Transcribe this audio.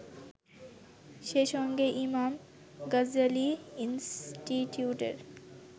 সেইসঙ্গে ইমাম গাজ্জালি ইন্সটিটিউটের